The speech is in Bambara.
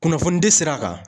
Kunnafoni di sira kan.